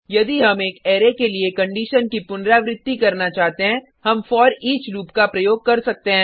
यदि हम एक अरै के लिए कंडिशन की पुनरावृर्ती करना चाहते हैं हम फोरिच लूप का उपयोग कर सकते हैं